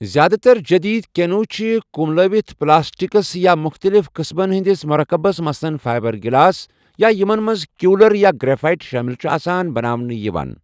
زیاد تر جٔدیٖد کیٚنو چھِ ، کُملٲوِتھ پٕلاسٹِکَس یا مُختٔلِف قٕسمَن ہِنٛدِس مُرکَبس مثلاً فایبَر گِلاس یا یمن منٛز کیولَر، یا گرٛیٚفایِٹ شٲمِل چُھ آسان، بناونہٕ یوان ۔